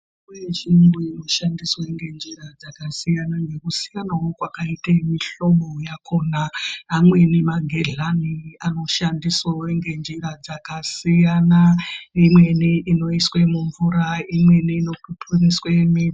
Mitombo yechirungu inoshandiswa ngenjira dzakasiyana yakasiyana kwakaita mihlobo yakona amweni magehlani anoshandiswawo ngenjira dzakasiyana imweni inoiswa mumvura imweni inokupuriswa mwiri.